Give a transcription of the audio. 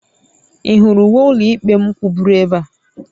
Ị hụrụ uwe ụlọikpe m kwụgburu ebe a?